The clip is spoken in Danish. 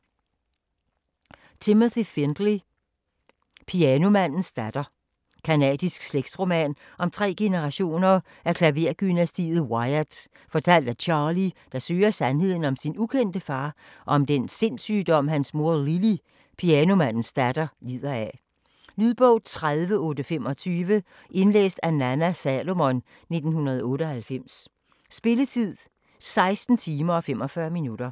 Findley, Timothy: Pianomandens datter Canadisk slægtsroman om tre generationer af klaverdynastiet Wyatt, fortalt af Charlie, der søger sandheden om sin ukendte far og om den sindssygdom hans mor Lily, pianomandens datter, lider af. Lydbog 30825 Indlæst af Nanna Salomon, 1998. Spilletid: 16 timer, 45 minutter.